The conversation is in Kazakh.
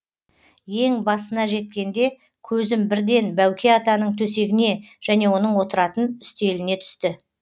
ең басына жеткенде көзім бірден бәуке атаның төсегіне және отыратын үстеліне түсті